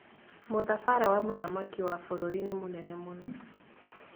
Mũthabara wa mũthamaki wa bũrũri nĩ mũnene mũno